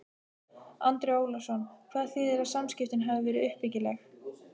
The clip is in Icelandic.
Andri Ólafsson: Hvað þýðir að samskiptin hafi verið uppbyggileg?